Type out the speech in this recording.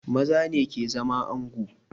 Maza ne ke zama ango